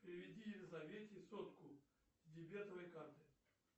переведи елизавете сотку с дебетовой карты